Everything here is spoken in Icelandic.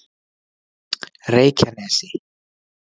Reykjanesi